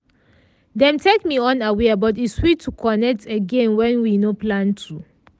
dem take me unaware but e sweet to connect again wen we nor plan to.